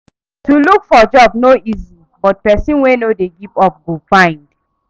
To look for job no easy but pesin wey no give up go find.